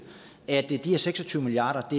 at de her seks og tyve milliard